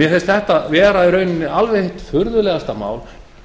mér finnst þetta vera í rauninni alveg hið furðulegasta mál